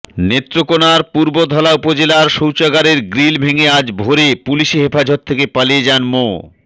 নেত্রকোনার পূর্বধলা উপজেলায় শৌচাগারের গ্রিল ভেঙে আজ ভোরে পুলিশি হেফাজত থেকে পালিয়ে যান মো